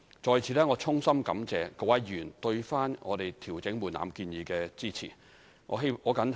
在此，我衷心感謝各位議員對我們調整門檻建議的支持。